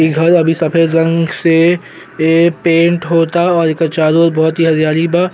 इ घर अभी सफेद रंग से ए पेंट होता और एकर चारों ओर बहुत ही हरीयाली बा।